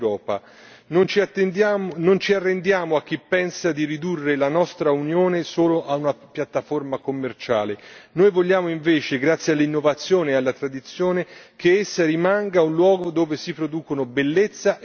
Non ci arrendiamo a chi pensa di ridurre la nostra Unione solo ad una piattaforma commerciale. Noi vogliamo invece, grazie all'innovazione e alla tradizione, che essa rimanga un luogo dove si producono bellezza e qualità.